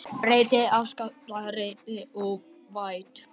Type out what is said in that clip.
Breytt afstaða rektors óvænt